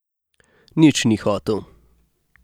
Nič ni hotel.